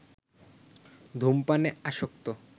ধূমপানে আসক্ত